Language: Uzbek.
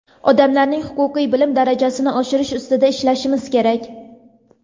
odamlarni huquqiy bilim darajasini oshirish ustida ishlashimiz kerak.